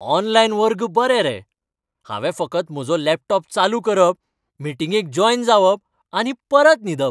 Online वर्ग बरे रे. हांवें फकत म्हजो लॅपटॉप चालू करप, मिटींगेक जॉयन जावप आनी परत न्हिदप.